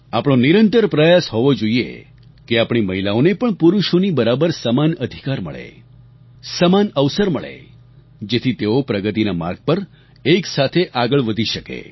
આપણો નિરંતર પ્રયાસ હોવો જોઈએ કે આપણી મહિલાઓને પણ પુરુષોની બરાબર સમાન અધિકાર મળે સમાન અવસર મળે જેથી તેઓ પ્રગતિના માર્ગ પર એકસાથે આગળ વધી શકે